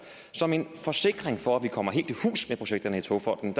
som en forsikring for at vi kommer helt i hus med projekterne i togfonden